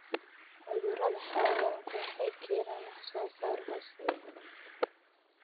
Cudurada xayawaanku waxay keenaan wax-soo-saar hooseeya.